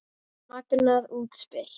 Magnað útspil.